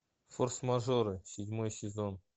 форс мажоры седьмой сезон